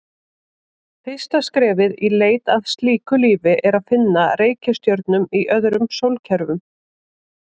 Fyrsta skrefið í leit að slíku lífi er að finna reikistjörnur í öðrum sólkerfum.